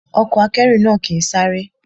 Ọkọ̀ akẹ́rù náà kì ń sáré.